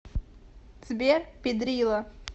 сбер пидрила